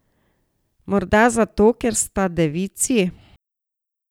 Morda zato, ker sta devici?